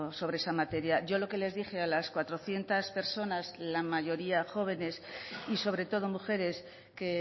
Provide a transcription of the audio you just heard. sobre esa materia yo lo que les dije a las cuatrocientos personas la mayoría jóvenes y sobre todo mujeres que